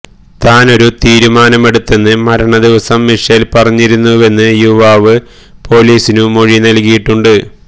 താനൊരു തീരുമാനമെടുത്തെന്ന് മരണദിവസം മിഷേല് പറഞ്ഞിരുന്നുവെന്ന് യുവാവ് പോലീസിനു മൊഴി നല്കിയിട്ടുണ്ട്